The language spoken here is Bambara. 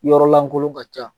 Yɔrɔ lankolon ka ca